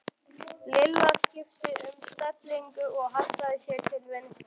Lilla skipti um stellingu og hallaði sér til vinstri.